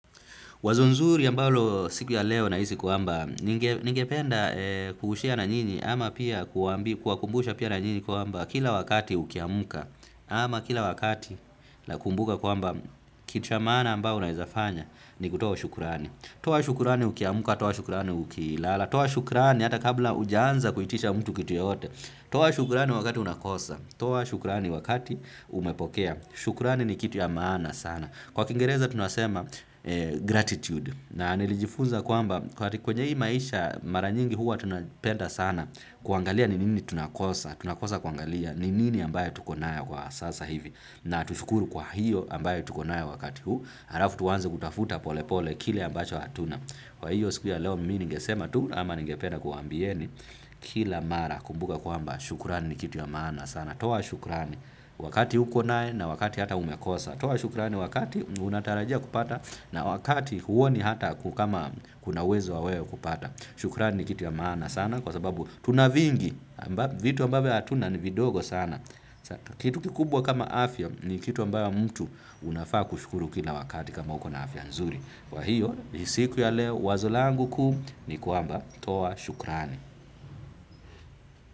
Wazo nzuri ambalo siku ya leo nahisi kwamba ningependa ku share na nyinyi ama pia kuwakumbusha pia na nyinyi kwamba kila wakati ukiamuka ama kila wakati nakumbuka kwamba kitu ya maana ambao unaezafanya ni kutoa shukurani. Toa shukurani ukiamuka, toa shukurani ukilala, toa shukurani hata kabla ujaanza kuitisha mtu kitu yoyote, toa shukurani wakati unakosa, toa shukurani wakati umepokea, shukurani ni kitu ya maana sana. Kwa kingereza tunasema gratitude na nilijifunza kwamba kwa kwenye hii maisha mara nyingi huwa tunapenda sana kuangalia ni nini tunakosa, tunakosa kuangalia ni nini ambayo tuko nayo kwa sasa hivi na tushukuru kwa hiyo ambayo tuko nayo wakati huu, halafu tuwanze kutafuta pole pole kile ambacho hatuna. Kwa hiyo siku ya leo mi ningesema tu ama ningependa kuwambieni kila mara kumbuka kwamba shukurani ni kitu ya maana sana. Toa shukurani wakati huko nayo na wakati hata umekosa. Toa shukurani wakati unatarajia kupata na wakati huoni hata kama kuna uwezo wawe kupata. Shukurani ni kitu ya maana sana kwa sababu tunavingi. Vitu ambavyo hatuna ni vidogo sana. Kitu kikubwa kama afya ni kitu ambayo mtu unafaa kushukuru kila wakati kama uko na afya nzuri. Wa hiyo ni siku ya leo wazo langu kuu ni kwamba toa shukrani.